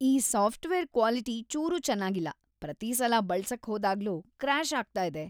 ಈ software quality ಚೂರೂ ಚೆನಾಗಿಲ್ಲ, ಪ್ರತೀ ಸಲ ಬಳ್ಸಕ್‌ ಹೋದಾಗ್ಲೂ ಕ್ರ್ಯಾಷ್‌ ಆಗ್ತಾ ಇದೆ.